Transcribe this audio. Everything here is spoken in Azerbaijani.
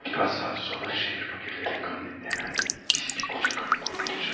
Bir neçə saat sonra şəhər fakirlərinin qanını əmən pis bir qoca qadından qurtulacaq.